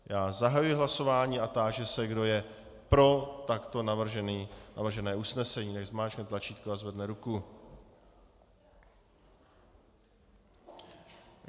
Já zahajuji hlasování a táži se kdo je pro takto navržené usnesení, ať zmáčkne tlačítko a zvedne ruku.